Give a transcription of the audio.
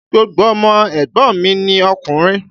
Gbogbo ọmọ ẹ̀gbọ́n mi ni okùnrin.